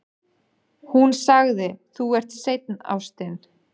Hún sagði: Þú ert seinn, ástin.